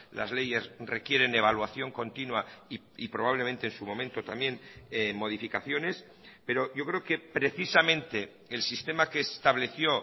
las leyes requieren evaluación continua y probablemente en su momento también modificaciones pero yo creo que precisamente el sistema que estableció